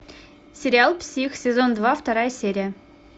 сериал псих сезон два вторая серия